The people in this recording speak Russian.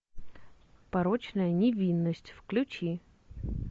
порочная невинность включи